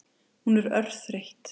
Hún er örþreytt.